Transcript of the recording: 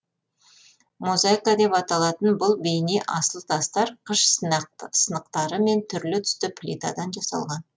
мозайка деп аталатын бұл бейне асыл тастар қыш сынықтары мен түрлі түсті плитадан жасалған